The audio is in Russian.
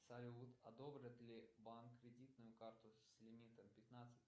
салют одобрит ли банк кредитную карту с лимитом пятнадцать